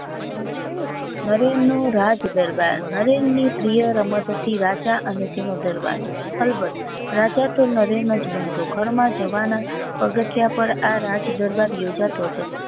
નરેન નું રાજદરબાર નરેન ની પ્રિય રમત હતી રાજા અને તેનો દરબાર બરાબર રાજા તો નરેન જ બનતો ઘર માં જવાના પગથીયા પર આ રાજદરબાર યોજાતો હતો